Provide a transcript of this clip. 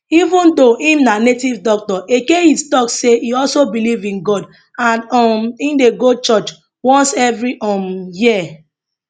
even though im na native doctor eke hit tok say e also believe in god and um im dey go church once evri um year